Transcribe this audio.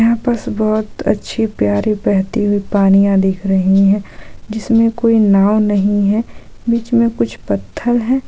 यहां पर बहुत अच्छी प्यारी बहती हुई पानियाँ दिख रही हैं जिसमें कोई नाव नही है बीच में कुछ पत्थर हैं।